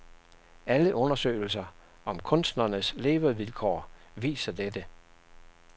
Alle undersøgelser om kunstnernes levevilkår viser dette.